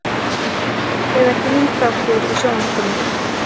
Eða grínþáttur í sjónvarpinu?